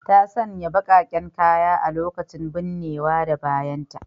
Ta sanya bakaken kaya a lokacin binnewa da bayanta.